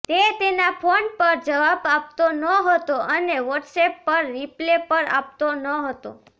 તે તેના ફોન પર જવાબ આપતો નહોતો અને વોટસએપ પર રિપ્લે પર આપતો નહોતો